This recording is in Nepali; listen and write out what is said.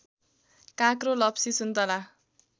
काँक्रो लप्सी सुन्तला